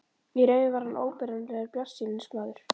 Í raun var hann óbetranlegur bjartsýnismaður.